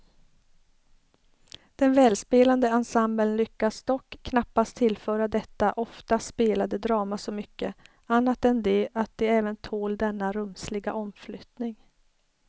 Den välspelande ensemblen lyckas dock knappast tillföra detta ofta spelade drama så mycket, annat än det att det även tål denna rumsliga omflyttning.